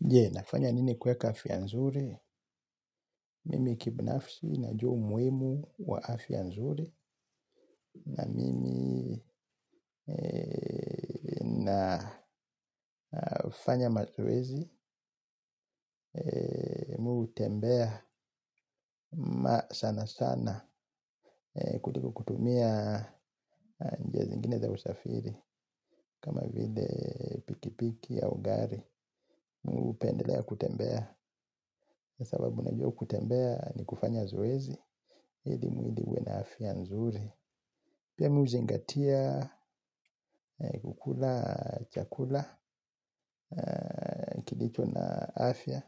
Je nafanya nini kuweka afya nzuri, mimi kibinafsi najua umuhimu wa afya nzuri, na mimi nafanya mazoezi, mi hutembea ma sana sana kutu kutumia nje zingine za usafiri, kama vile pikipiki au ugari, mi hupendelea kutembea, kwa sababu najua kutembea ni kufanya zoezi, ili mwili uwe na afya nzuri. Pia mi huzingatia, kukula chakula, kilicho na afya,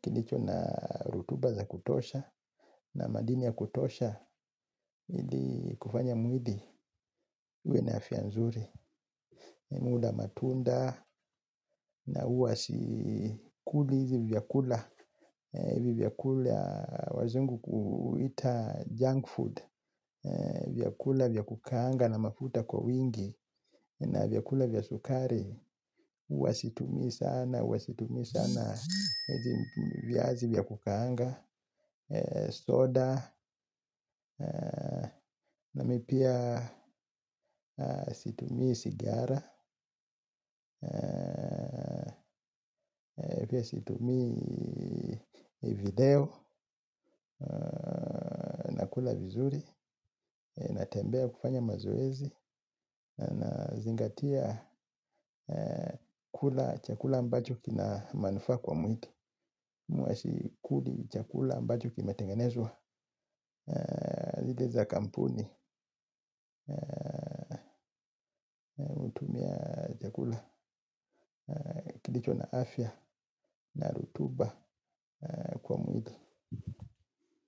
kilicho na rutuba za kutosha. Na madini ya kutosha, hili kufanya mwili, uwe na afya nzuri. Muda matunda na huwa sikuli hizi vyakula. Vyakula wazungu kuita junk food. Vyakula vya kukanga na mafuta kwa wingi. Na vyakula vya sukari, huwa situmi sana, huwa situmi sana viazi vya kukaanga, soda, na mi pia situmii sigara, situmii video, nakula vizuri, natembea kufanya mazoezi. Nazingatia kula chakula ambacho kina manufaa kwa mwili na sikuli chakula ambacho kimetengenezwa zile za kampuni. Chakula kilicho na afya na rutuba kwa mwili.